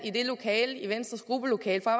i venstres gruppelokale for